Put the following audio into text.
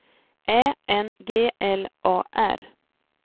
Ä N G L A R